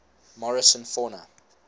morrison fauna